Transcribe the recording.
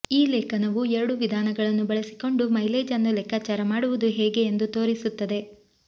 ಈ ಲೇಖನವು ಎರಡೂ ವಿಧಾನಗಳನ್ನು ಬಳಸಿಕೊಂಡು ಮೈಲೇಜ್ ಅನ್ನು ಲೆಕ್ಕಾಚಾರ ಮಾಡುವುದು ಹೇಗೆ ಎಂದು ತೋರಿಸುತ್ತದೆ